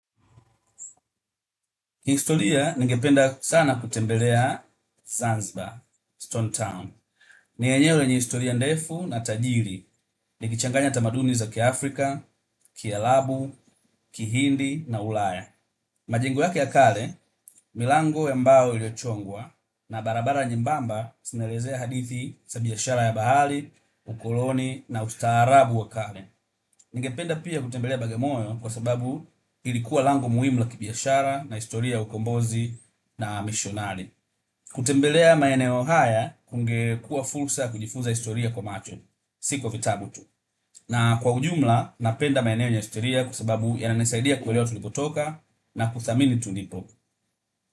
Kihistoria ningependa sana kutembelea Zanzibar, Stone Town. Ni enyewe ni historia ndefu na tajiri. Ni kichanganya tamaduni za kia Afrika, Kiarabu, Kihindi na Ulaya. Majengo yake yakale, milango ya mbao iliyo chongwa, na barabara nyembamba zinaelezea hadithi za biashara ya bahari, ukoloni na ustaarabu wa kale. Ningependa pia kutembelea bagimoyo kwa sababu ilikuwa lango muimu la kibiashara na historia ya ukombozi na missionari. Kutembelea maeneo haya, kungekuwa fursa ya kujifuza historia kwa macho. Si kwa vitabu tu, na kwa ujumla, napenda maeneo yenye historia kwasababu yananisaidia kuelewa tulipotoka na kuthamini tulipo.